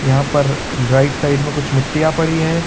यहां पर right side में कुछ मिट्टियां पड़ी हुई है।